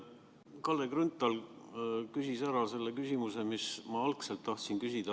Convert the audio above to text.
Kalle Grünthal küsis ära selle küsimuse, mida mina tahtsin küsida.